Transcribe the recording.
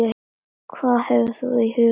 Hvað hefur þú í huga?